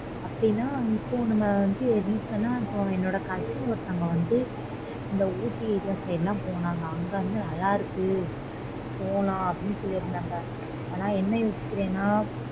அப்பிடின்னா இப்போ நம்ம வந்து என்னோட cousin ஒருத்தங்க வந்து இந்த ooty area side போ நாங்க அங்க நல்ல இருக்கு போலாம் சொன்னாங்க ஆனா என்ன யோசிக்குரான்னா